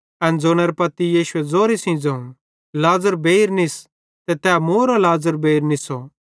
एन ज़ोनेरां पत्ती यीशुए ज़ोरे सेइं ज़ोवं लाज़र बेइर निस